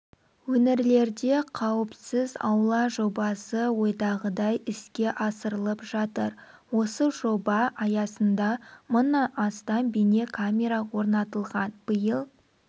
өңірлерде қауіпсіз аула жобасы ойдағыдай іске асырылып жатыр осы жоба аясында мыңнан астам бейнекамера орнатылған биыл